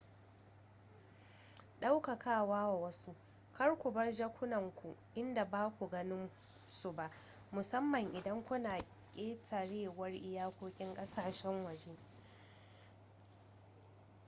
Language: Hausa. daukawa wa wasu kar ku bar jakunanku inda baku ganin su ba musamman idan kuna ƙetarewar iyakokin ƙasashen waje